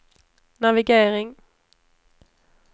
navigering